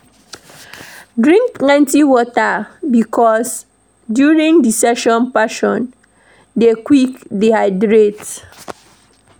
Drink plenty water because during hot season person dey quick dehydrate